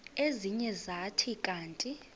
ezinye zathi kanti